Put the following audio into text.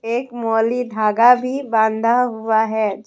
एक मौली धागा भी बांधा हुआ है।